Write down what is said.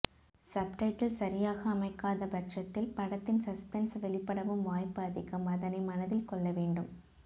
subtitle சரியாக அமைக்காத பட்சத்தில் படத்தின் சஸ்பென்ஸ் வெளிப்படவும் வாய்ப்பு அதிகம் அதனை மனதில் கொள்ள வேண்டும்